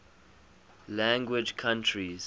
language countries